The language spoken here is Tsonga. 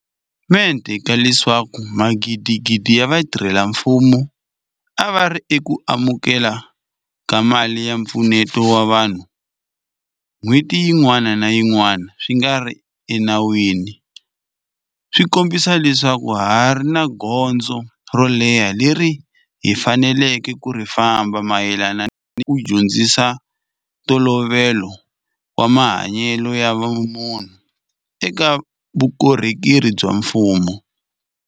Mente ka leswaku magidigidi ya vatirhela mfumo a va ri eku amukele ni ka mali ya mpfuneto wa vanhu n'hweti yin'wana ni yin'wana swi nga ri enawini swi kombisa leswaku ha ha ri ni gondzo ro leha leri hi faneleke ku ri famba mayelana ni ku dyondzisa ntolovelo wa mahanyelo ya vumunhu eka vukorhokeri bya mfumo.